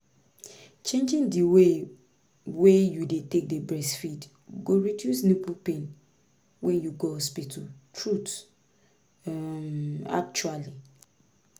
changing the way wey you dey take dey breastfeed go reduce nipple pain when you go hospital truth um actually